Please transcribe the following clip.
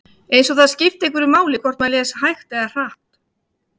Eins og það skipti einhverju máli hvort maður les hægt eða hratt.